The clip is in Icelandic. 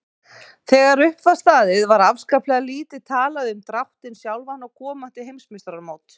Þegar upp var staðið var afskaplega lítið talað um dráttinn sjálfan og komandi heimsmeistaramót.